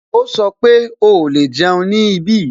Ó sọ pé "o lè jẹun ní ibí"